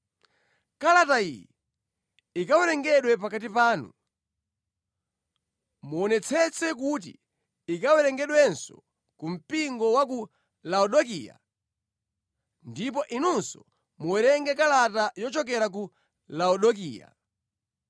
Kalata iyi ikawerengedwa pakati panu, muonetsetse kuti ikawerengedwenso ku mpingo wa ku Laodikaya ndipo inunso muwerenge kalata yochokera ku Laodikaya.